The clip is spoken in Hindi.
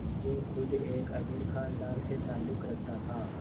जो ख़ुद एक अमीर ख़ानदान से ताल्लुक़ रखता था